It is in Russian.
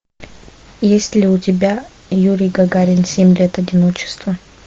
есть ли у тебя юрий гагарин семь лет одиночества